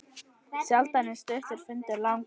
Sjaldan er stuttur fundur langur.